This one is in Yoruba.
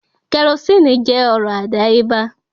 Kerosínnì jẹ́ ọrọ̀ àdáyébá